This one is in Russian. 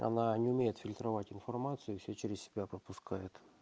она не умеет фильтровать информацию всё через себя пропускает